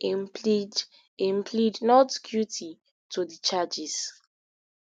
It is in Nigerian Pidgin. im plead im plead not guilty to di charges